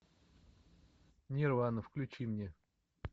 нирвана включи мне